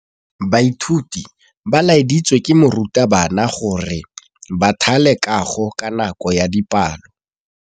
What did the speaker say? Baithuti ba laeditswe ke morutabana gore ba thale kagô ka nako ya dipalô.